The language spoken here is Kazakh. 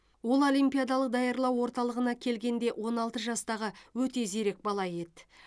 ол олимпиадалық даярлау орталығына келгенде он алты жастағы өте зерек бала еді